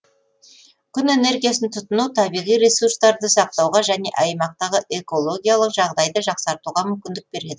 күн энергиясын тұтыну табиғи ресурстарды сақтауға және аймақтағы экологиялық жағдайды жақсартуға мүмкіндік береді